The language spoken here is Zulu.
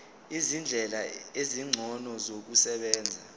izindlela ezingcono zokusebenza